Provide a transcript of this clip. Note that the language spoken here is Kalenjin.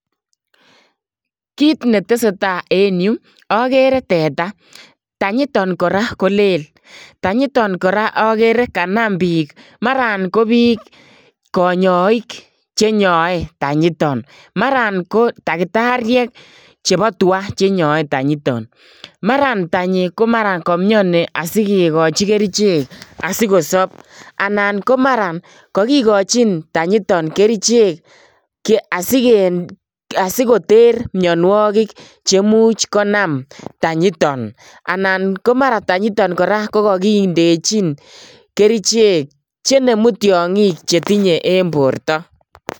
Kiit neteseta en yuu okere teta, tanyiton kora ko leel, tanyiton kora okere kanam biik maran ko biik konyoik chenyoe tanyiton, maran ko takitariek chebo twaa chenyoe tanyuiton, maran tanyi ko maran komioni asikikochi kerichek asikosob anan ko maran kokikochin tanyiton kerichek asikoter mionwokik cheimuch konam tanyiton anan ko maran tanyiton kora ko kokindechin kerichek chenemu tiongik chetinye en borto.